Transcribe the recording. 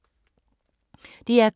DR K